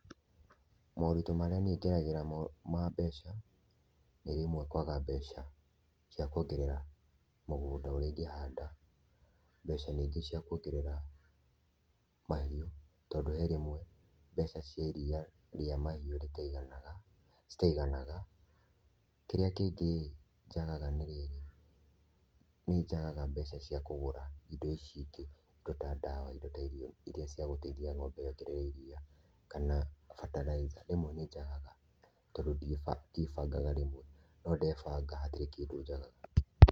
Morito marĩa niĩ ngeragĩra ma mbeca nĩ rĩmwe kwaga mbeca cia kwongerera mũgũnda ũrĩa ingĩhanda, mbeca ningĩ cia kwongerera mahiũ, tondũ he rĩmwe mbeca cia iria rĩa mahiũ citaiganaga. Kĩrĩa kĩngĩ kĩagaga nĩ rĩrĩ, niĩ njagaga mbeca cia kũgũra indo ici ingĩ; indo ta ndawa, indo ta irio iria cia gũteithia ng'ombe yongerere iria, kana bataraitha rĩmwe nĩ njagaga tondũ ndiĩbangaga rĩmwe. No ndebanga hatirĩ kĩndũ njagaga.